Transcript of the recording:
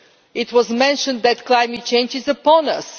It was mentioned that climate change is upon us.